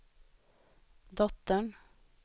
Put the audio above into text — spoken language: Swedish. dottern